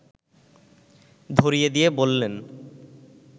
ধরিয়ে দিয়ে বললেন